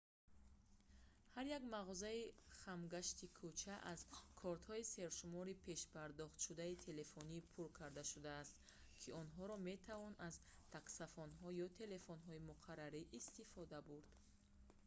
ҳар як мағозаи хамгашти кӯча аз кортҳои сершумори пешпардохтшудаи телефонӣ пур карда шудааст ки онҳоро метавон аз таксафонҳо ё телефонҳои муқаррарӣ истифода бурд